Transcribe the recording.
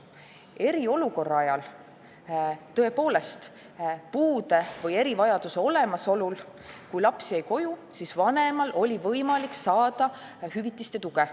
Eriolukorra ajal, kui laps jäi koju, oli vanemal tõepoolest lapse puude või erivajaduse olemasolu korral võimalik saada hüvitist ja tuge.